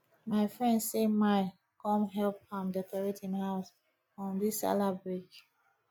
my friend say my come help am decorate him house um dis sallah break